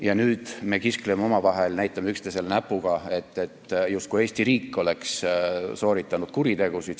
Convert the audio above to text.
Ja nüüd me kiskleme omavahel, näitame üksteisele näpuga, et justkui Eesti riik oleks sooritanud kuritegusid.